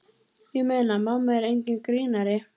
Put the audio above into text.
Ég meina, mamma er enginn grínari.